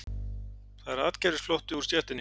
Það er atgervisflótti úr stéttinni